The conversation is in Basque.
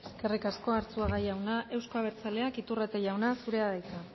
eskerrik asko arzuaga jauna euzko abertzaleak iturrate jauna zurea da hitza